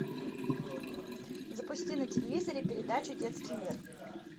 запусти на телевизоре передачу детский мир